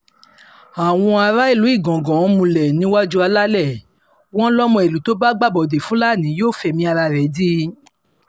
àwọn aráàlú igangan múlẹ̀ níwájú alalẹ̀ wọn lọmọ ìlú tó bá gbàbọ̀dé fúlàní yóò fẹ̀mí ara ẹ̀ dí i